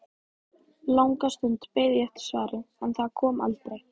Langa stund beið ég eftir svari, en það kom aldrei.